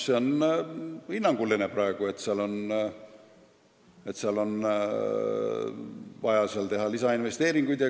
See on praegu hinnanguline väide, et seal on vaja teha lisainvesteeringuid.